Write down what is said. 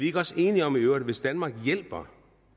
ikke også enige om at hvis danmark hjælper